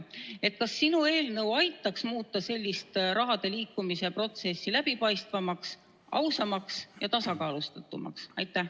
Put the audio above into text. Kas sinu eelnõu aitaks muuta raha liikumise protsessi läbipaistvamaks, ausamaks ja tasakaalustatumaks?